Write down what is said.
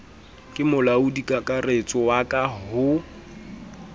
le molaodikakaretso wa ka ho